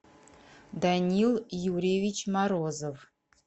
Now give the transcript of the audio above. данил юрьевич морозов